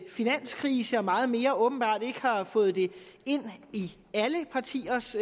finanskrise og meget mere åbenbart ikke har fået det ind i alle partiers